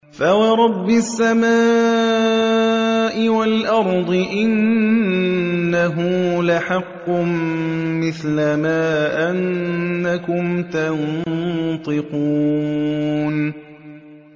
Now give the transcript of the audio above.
فَوَرَبِّ السَّمَاءِ وَالْأَرْضِ إِنَّهُ لَحَقٌّ مِّثْلَ مَا أَنَّكُمْ تَنطِقُونَ